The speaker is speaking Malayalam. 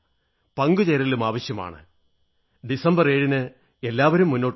പങ്കുചേരലും ആവശ്യമാണ് ഡിസംബര് 7 ന് എല്ലാവരും മുന്നോട്ടു വരണം